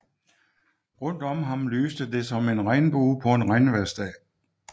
Rundt om ham lyste det som en regnbue på en regnvejrsdag